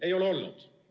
Ei ole olnud!